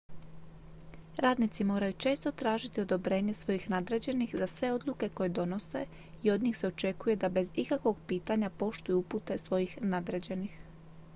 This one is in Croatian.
radnici moraju često tražiti odobrenje svojih nadređenih za sve odluke koje donose i od njih se očekuje da bez ikakvog pitanja poštuju upute svojih nadređenih